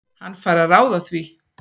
Hann fær að ráða því.